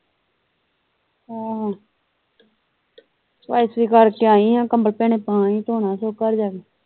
ਆਹੋ ਸਫਾਈ ਸੁਫਾਈ ਕਰਕੇ ਆਈ ਆ ਕੰਬਲ ਭੈਣੇ ਪਾ ਆਈ ਧੋਣਾ ਸਗੋਂ ਘਰ ਜਾ ਕੇ।